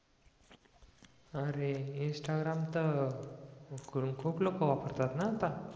अरे इंस्टाग्राम तर खूप लोक वापरतात ना आता